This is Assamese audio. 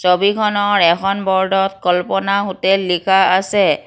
ছবিখনৰ এখন ব'ৰ্ডত কল্পনা হোটেল লিখা আছে।